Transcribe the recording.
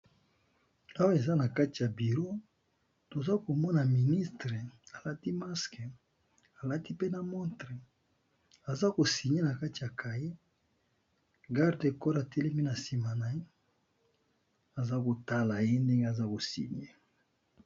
Awa eza na kati ya biro toza komona ministre alati masque, alati mpe na montre aza ko signé na kati ya kaye, garde corps atelemi na sima na ye, aza kotala ye ndenge aza ko signé.